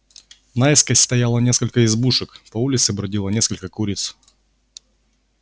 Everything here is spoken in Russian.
наискось стояло несколько избушек по улице бродило несколько куриц